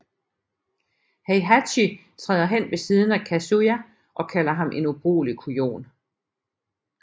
Heihachi træder hen ved siden af Kazuya og kalder ham en ubrugelig kujon